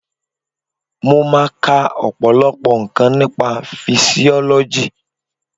Mo máa ka ọ̀pọ̀lọpọ̀ nǹkan nípa fisiọ́lọ́jì